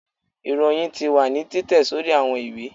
iroyín tí wa ni titẹ sorí awọn ìwé